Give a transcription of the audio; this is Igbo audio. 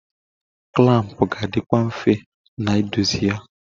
Klampụ ga adịkwụ mfe n'idozi ya.